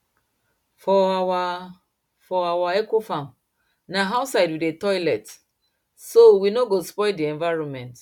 for our for our ecofarm na outside we dey toilet so we no go spoil the environment